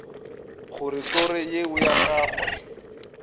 gore toro yeo ya gagwe